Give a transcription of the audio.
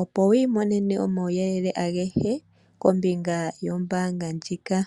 opo wiimonene omauyelele agehe kombinga yombaanga ndjika.